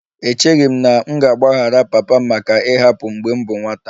Echeghị m na m ga-agbaghara papa m maka ịhapụ m mgbe m bụ nwata